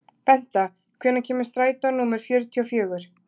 Benta, hvenær kemur strætó númer fjörutíu og fjögur?